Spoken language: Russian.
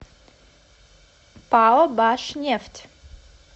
пао башнефть